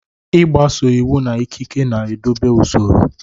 Ịgbaso iwu na ikike na-edobe usoro.